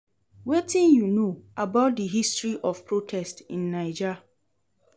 Wetin you know about di history of protest in Naija?